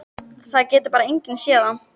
Það getur bara enginn séð það.